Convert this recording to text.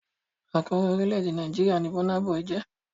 Akọrin orílẹ̀-èdè Nàìjíríà ni Burna Boy jẹ́.